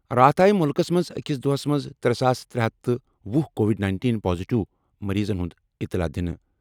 راتھ آیہِ مُلکَس منٛز أکِس دۄہَس منٛز ترٛےٚ ساس ترے ہتھ تہٕ وہُ کووِڈ-19 پازیٹیو مٔریٖضَن ہٕنٛز اطلاع دِنہٕ۔